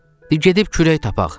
Deyə gedib kürək tapaq.